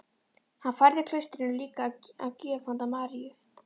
Hann færði klaustrinu líka að gjöf hönd Maríu